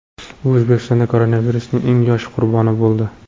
U O‘zbekistonda koronavirusning eng yosh qurboni bo‘ldi .